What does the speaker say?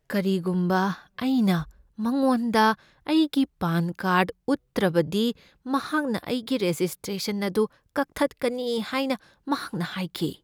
ꯀꯔꯤꯒꯨꯝꯕ ꯑꯩꯅ ꯃꯉꯣꯟꯗ ꯑꯩꯒꯤ ꯄꯥꯟ ꯀꯥꯔꯗ ꯎꯠꯇ꯭ꯔꯕꯗꯤ, ꯃꯍꯥꯛꯅ ꯑꯩꯒꯤ ꯔꯦꯖꯤꯁꯇ꯭ꯔꯦꯁꯟ ꯑꯗꯨ ꯀꯛꯊꯠꯀꯅꯤ ꯍꯥꯏꯅ ꯃꯍꯥꯛꯅ ꯍꯥꯏꯈꯤ꯫